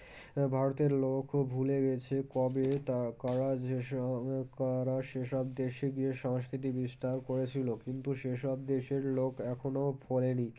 ভারতের লোকও ভুলে গেছে কবে তা কারসেসব দেশে গিয়ে সংস্কৃতি বিস্তার করেছিল কিন্তু সেসব দেশের লোক এখনো ভোলেনি